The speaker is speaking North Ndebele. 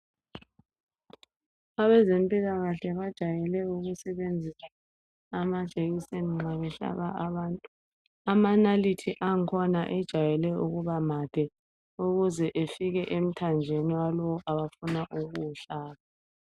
Abezempilakahle bajayele ukusebenzisa amajekiseni nxa besehlaba abantu. Amanalithi akhona, ajayele ukuba made ukuze efike emthanjeni, yalowo abafuna ukuwuhlaba.